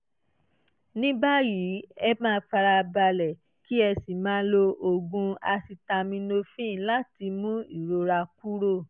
ní báyìí ẹ máa farabalẹ̀ kí ẹ sì máa lo oògùn acetaminophen láti mú ìrora kúrò